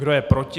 Kdo je proti?